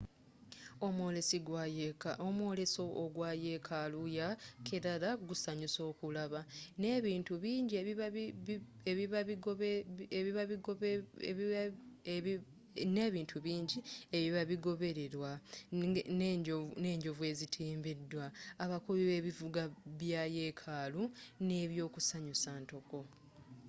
omwoleso ogwa yekaalu ya kerala gusanyusa okulaba ne bintu bingi ebiba bigobererwa ne njovu ezitimbiddwa abakubi b'ebivuga bya yekaalu n'ebyokusanyusa ntoko